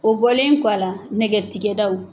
O bɔlen kɔ a la nɛgɛ tigɛ daw